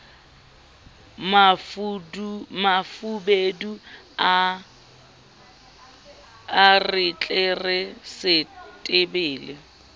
mafubedu a re tlere setebele